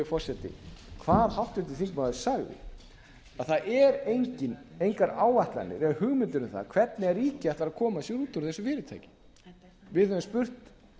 forseti hvað háttvirtur þingmaður sagði að það eru engar áætlanir eða hugmyndir um það hvernig ríkið ætlar að koma ár út úr þessu fyrirtæki við höfum spurt